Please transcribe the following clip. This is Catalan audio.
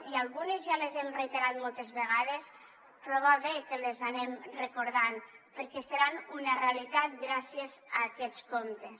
i algunes ja les hem reiterat moltes vegades però va bé que les anem recordant perquè seran una realitat gràcies a aquests comptes